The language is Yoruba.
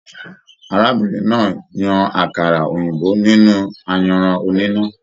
Arábìnrin náà yan àkàrà òyìnbó nínú ayanran oníná.